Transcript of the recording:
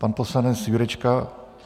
Pan poslanec Jurečka?